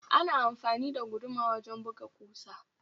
Ana amfani da guduma wajen buga ƙusa